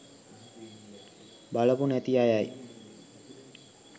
බලපු නැති අයයි